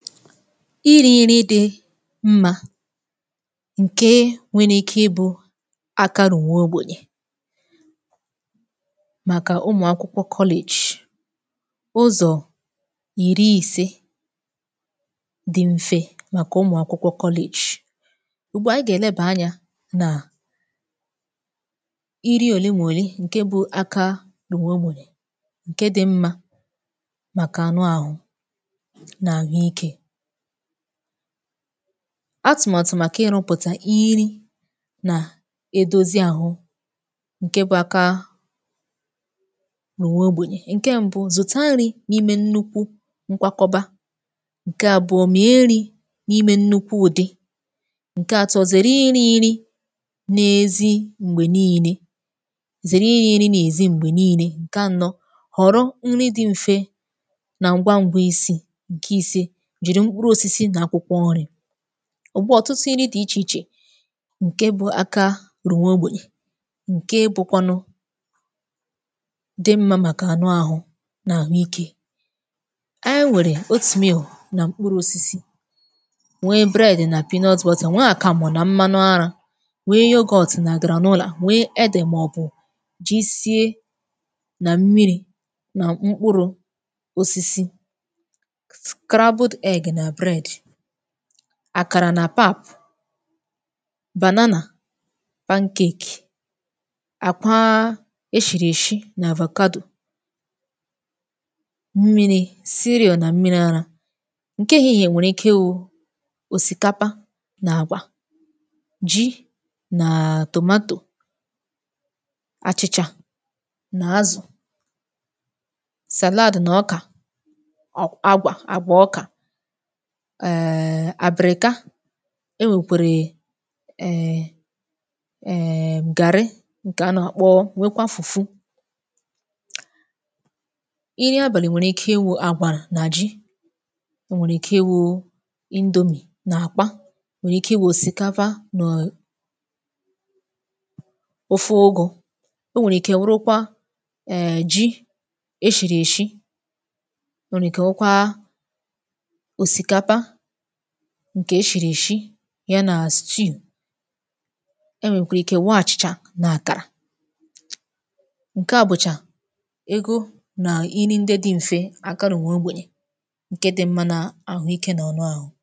irī nri di mmā ǹke nwere ike ibū akarụ̀ nwa ogbènyè màkà umù akwụkwọ kọlejị̀ ụzọ̀ ìri ise di mfe màkà umùakwụkwọ kọlajị ùgbua ànyị gà-èlebà anyā nà iri òle ma òle ǹke bụ aka umù ogbènye ǹke di mmā màkà anụ ahu nà àhụ ike atụ̀màtụ̀ màkà ịrụ̄pụ̀tà iri nà edozi àhụ ǹke bụ̄ aka umù nwa ogbènyè. Ǹke mbu zụ̀ta nri n’ime nnukwu nkwakọba ǹke àbụọ mee nrī n'imē nnukwu ụ̀dị ǹke àtọ zère irī nri na-ezi m̀gbè niine zère irī nri n’èzi m̀gbè niile ǹke ànọ ghọ̀rọ nri di mfe nà ngwangwa isī ǹke ìse jìrì mkpurū osisi nà akwụkwọ nri ugbua ọ̀tụtụ nri di ichè ichè ǹke bụ aka rụ̀ nwa ogbènyè ǹke bụkwanụ di mmā màkà anụ̄ àhụ nà àhụ ikē e nwèrè ya oat meal nà mkpurū osisi nwee bread nà peanut butter nwee àkàmụ̀ na mmanụ arā nwee yoghurt nà granola nwee edè màọbụ̀ jisie nà mmịrị̄ nà mkpurū osisi scrabbled egg nà bread àkàrà nà pap banana pancake àkwa e shìrì èshi nà avocado mmịrị̄ cereal nà mmịrị̄ arā ǹke èhihie nwèrè ike iwū òsìkapa nà àgwà ji nà tomato àchị̀chà nà azụ̀ salad nà ọkà ọ̀ agwà àgwà ọkà em àbị̀rị̀ka e nwèkwèrè em em gàrị ǹkè a nà-àkpọ nwekwa fùfu nri abàlị nwèrè ike iwū àgwà nà ji o nwèrè ike iwū indomie nà àgwa o nwee ike iwū òsìkapa màọbụ̀ ofe ugū o nweè ike wurukwa em ji e shìrì èshi o nwère ike wukwa òsìkapa ǹkè e shìrì èshi ya nà stew e nwèkwàrà ike nwee àchị̀chà nà àkàrà ǹke a bụ̀chà egō nà nri ndị di m̀fe aka rùrù nwa ogbènyè ǹke di mmā nà àhụ ike na ọnụ àhụ